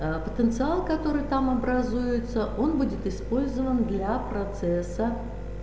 а потенциал который там образуется он будет использован для процесса